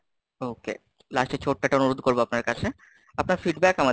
okay, lust এ ছোট্ট একটা অনুরোধ করবো আপনার কাছে, আপনার Feedback .